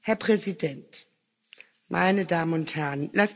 Herr Präsident, meine Damen und Herren!